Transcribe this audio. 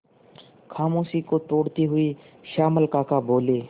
खामोशी को तोड़ते हुए श्यामल काका बोले